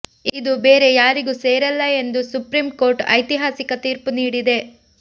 ಇದು ಬೇರೆ ಯಾರಿಗೂ ಸೇರಲ್ಲ ಎಂದು ಸುಪ್ರೀಂಕೋರ್ಟ್ ಐತಿಹಾಸಿಕ ತೀರ್ಪು ನೀಡಿದೆ